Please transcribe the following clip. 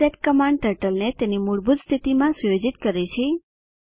reset command ટર્ટલને તેની મૂળભૂત સ્થિતિમાં સુયોજિત કરે છે